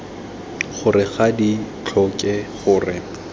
gore ga di tlhoke gore